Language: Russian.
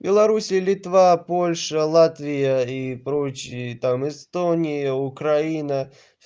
белоруссия литва польша латвия и прочие там эстония украина